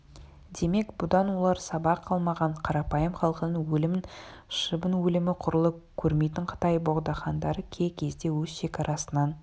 демек бұдан олар сабақ алмаған қарапайым халқының өлімін шыбын өлімі құрлы көрмейтін қытай богдахандары кей кезде өз шекарасынан